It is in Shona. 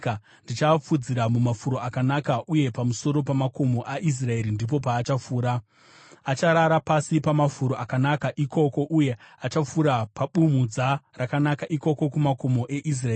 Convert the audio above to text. Ndichaafudzira mumafuro akanaka, uye pamusoro pamakomo aIsraeri ndipo paachafura. Acharara pasi pamafuro akanaka ikoko, uye achafura pabumhudza rakanaka ikoko kumakomo eIsraeri.